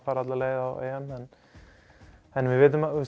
fara alla leið á EM en við vitum að